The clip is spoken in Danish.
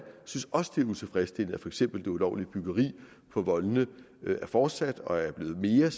synes også det er utilfredsstillende for eksempel at det ulovlige byggeri på voldene er fortsat og er blevet mere